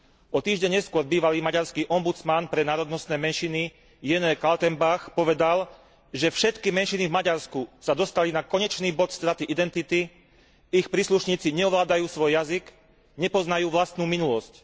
O týždeň neskôr bývalý maďarský ombudsman pre národnostné menšiny Jenö Kaltenbach povedal, že všetky menšiny v Maďarsku sa dostali na konečný bod straty identity, ich príslušníci neovládajú svoj jazyk, nepoznajú vlastnú minulosť.